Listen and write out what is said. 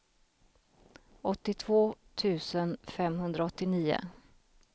åttiotvå tusen femhundraåttionio